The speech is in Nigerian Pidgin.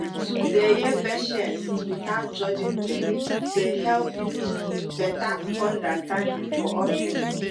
to dey hear patients without judging dem dey help build better understanding for hospital.